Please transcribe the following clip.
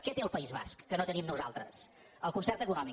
què té el país basc que no tenim nosaltres el concert econòmic